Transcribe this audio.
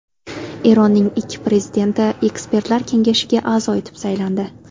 Eronning ikki prezidenti Ekspertlar kengashiga a’zo etib saylandi.